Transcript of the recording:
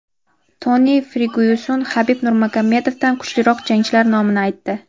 Toni Fergyuson Habib Nurmagomedovdan kuchliroq jangchilar nomini aytdi.